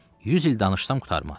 Yüz il danışsam qurtarmaz.